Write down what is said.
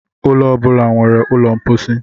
Ụlọ ọ bụla nwere ụlọ mposi.